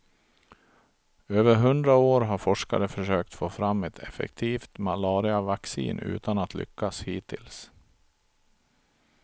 Över hundra år har forskare försökt få fram ett effektivt malariavaccin utan att lyckas hittills.